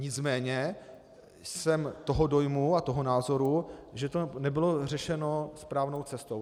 Nicméně jsem toho dojmu a toho názoru, že to nebylo řešeno správnou cestou.